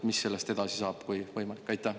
Mis sellest edasi saab, kui võimalik?